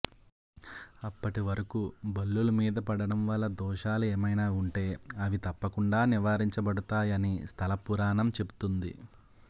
అప్పటి వరకూ బల్లుల మీద పడటం వల్ల దోషాలు ఏమైనా ఉంటే అవి తప్పకుండా నివారించబడుతాయని స్థల పురాణం చెబుతోంది